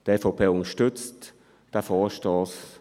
Die EVP unterstützt diesen Vorstoss.